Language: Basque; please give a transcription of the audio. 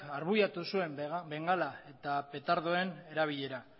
argudiatu zuten bengala eta petardoen erabilera